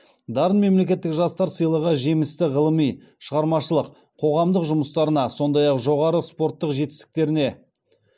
дарын мемлекеттік жастар сыйлығы жемісті ғылыми шығармашылық қоғамдық жұмыстарына сондай ақ жоғары спорттық жетістіктеріне